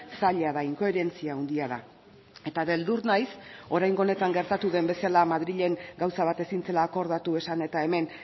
zaila da inkoherentzia handia da eta beldur naiz oraingo honetan gertatu den bezala madrilen gauza bat ezin zela akordatu esan eta hemen